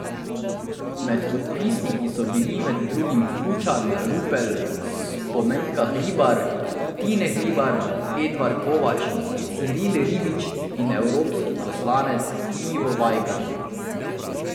Med podpisniki so bili med drugim Kučan, Rupel, Spomenka Hribar, Tine Hribar, Edvard Kovač, Ciril Ribičič in evropski poslanec Ivo Vajgl.